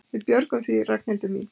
Við björgum því, Ragnhildur mín.